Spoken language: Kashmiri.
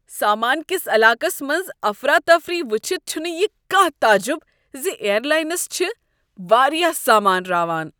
سامان کس علاقس منٛز افراتفری وچھتھ چھنہٕ یہ کانٛہہ تعجب ز ایئر لاینس چِھ واریاہ سامان راوان۔